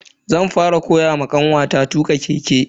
zan fara koyawa kanwata tuka keke.